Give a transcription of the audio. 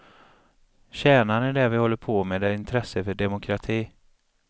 Kärnan i det vi håller på med är intresset för demokrati.